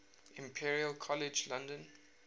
imperial college london